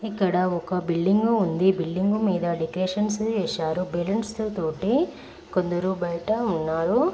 ఇక్కడ ఒక బిల్డింగు ఉంది . బిల్డింగు మీద డెకొరేషన్స్ చేసారు బలౌన్స్తో తోటి. కొందారు బయటా ఉన్నారు.